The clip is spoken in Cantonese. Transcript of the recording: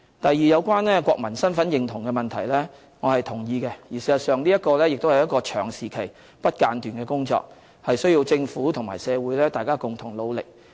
第二，有關國民身份認同的問題，我是同意的。事實上，這亦是一個長時期、不間斷的工作，需要政府和社會大家共同努力。